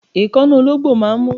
Èékánná ológbò máà ń mú